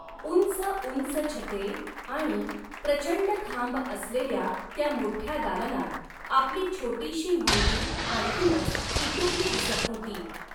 उंचउंच छते आणि प्रचंड खांब असलेल्या त्या मोठ्या दालनात आपली छोटीशी मुलगी आणखीनच इटुकली दिसत होती.